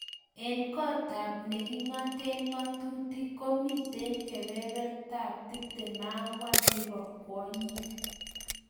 Eng kot ab nekingate ngatutik komitei kebeberta ab 24 nebo kwonyik.